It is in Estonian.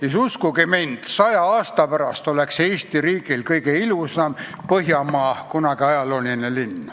Ja siis, uskuge mind, saja aasta pärast oleks Eesti riigis kõige ilusam ajalooline linn põhjamaal.